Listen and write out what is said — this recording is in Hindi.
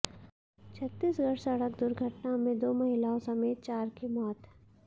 छत्तीसगढ़ सड़क दुर्घटना में दो महिलाओं समेत चार की मौत